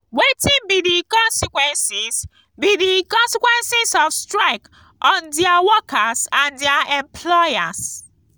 wetin be di consequences be di consequences of strike on di workers and di employers?